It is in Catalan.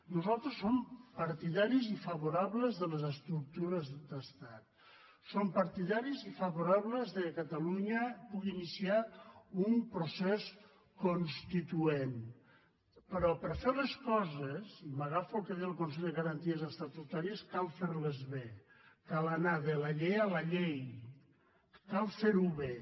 nosaltres som partidaris i favorables de les estructures d’estat som partidaris i favorables que catalunya pugui iniciar un procés constituent però per fer les coses i m’agafo al que diu el consell de garanties estatutàries cal fer les bé cal anar de la llei a la llei cal fer ho bé